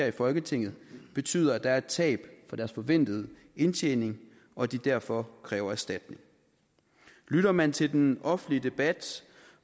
i folketinget betyder at der er et tab på deres forventede indtjening og at de derfor kræver erstatning lytter man til den offentlige debat